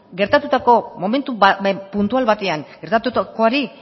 momentu puntual batean gertatutakoari